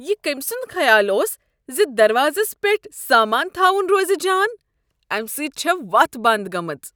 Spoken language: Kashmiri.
یہ کٔمۍ سُند خیال اوس ز دروازس پیٹھ سامانہٕ تھاون روز جان؟ امہ سۭتۍ چھےٚ وتھ بند گٔمٕژ۔